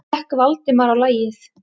gekk Valdimar á lagið.